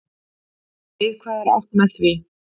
Við hvað er átt með því?